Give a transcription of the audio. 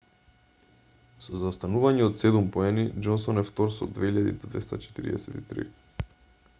со заостанување од седум поени џонсон е втор со 2,243